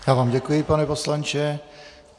Já vám děkuji, pane poslanče.